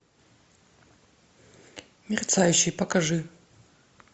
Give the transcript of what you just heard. мерцающий покажи